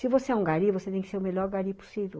Se você é um gari, você tem que ser o melhor gari possível.